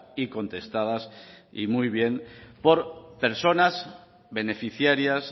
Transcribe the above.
y contestadas y muy bien por personas beneficiarias